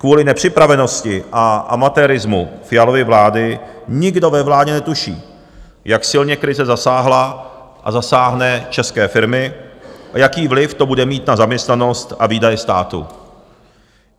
Kvůli nepřipravenosti a amatérismu Fialovy vlády nikdo ve vládě netuší, jak silně krize zasáhla a zasáhne české firmy a jaký vliv to bude mít na zaměstnanost a výdaje státu.